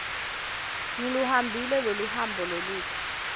ngiluhambile loluhambo loludze